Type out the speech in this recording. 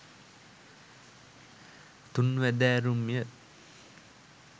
තුන්වැදෑරුම්ය.